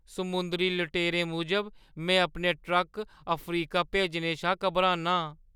समुंदरी लुटेरें मूजब में अपने ट्रक अफ्रीका भेजने शा घाबरना आं।